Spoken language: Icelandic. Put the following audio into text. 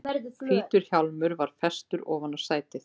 Hvítur hjálmur var festur ofan á sætið.